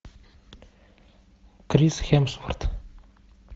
крис хемсворт